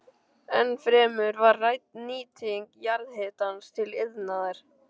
Ennfremur var rædd nýting jarðhitans til iðnaðar.